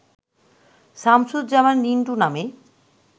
শামসুজ্জামান রিন্টু নামে